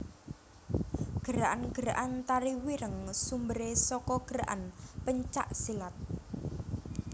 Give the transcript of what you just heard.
Gerakan gerakan Tari Wireng sumberé saka gerakan pencak silat